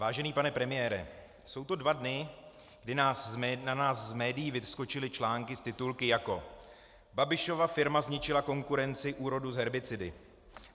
Vážený pane premiére, jsou to dva dny, kdy na nás z médií vyskočily články s titulky jako: Babišova firma zničila konkurenci úrodu s herbicidy.